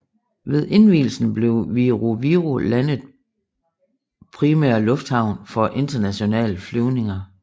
Ved indvielsen blev Viru Viru landet primære lufthavn for internationale flyvninger